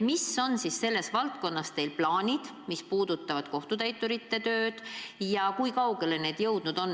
Millised on selles valdkonnas teie plaanid, mis puudutavad kohtutäiturite tööd, ja kui kaugele need jõudnud on?